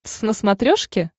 твз на смотрешке